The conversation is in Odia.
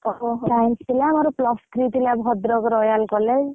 ଓହୋ Science ମୋର plus three ଥିଲା, ଭଦ୍ରକ royal college